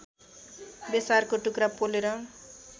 बेसारको टुक्रा पोलेर